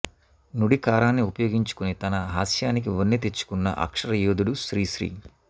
నుడికారాన్ని ఉపయోగించుకుని తన హాస్యానికి వన్నె తెచ్చుకున్న అక్షర యోధుడు శ్రీశ్రీ